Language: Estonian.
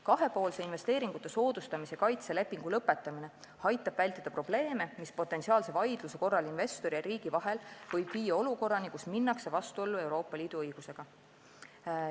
Kahepoolse investeeringute soodustamise kaitse lepingu lõpetamine aitab vältida probleeme, mis potentsiaalse vaidluse korral investori ja riigi vahel võib viia olukorrani, kus minnakse vastuollu Euroopa Liidu õigusega.